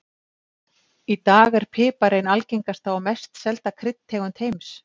Í dag er pipar ein algengasta og mest selda kryddtegund heims.